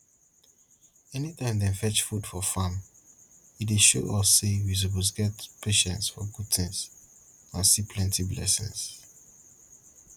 anytime dem fetch food for farm e dey show us say we suppose get patience for good things and see plenty blessing